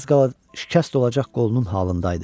Az qala şikəst olacaq qolunun halında idi.